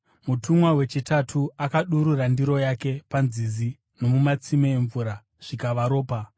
Mutumwa wechitatu akadurura ndiro yake panzizi nomumatsime emvura, zvikava ropa.